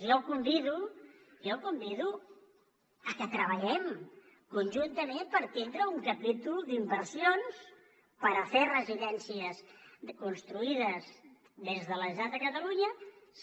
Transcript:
jo el convido jo el convido a que treballem conjuntament per tindre un capítol d’inversions per a fer residències construïdes des de la generalitat de catalunya